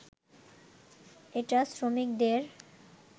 এটা শ্রমিকদের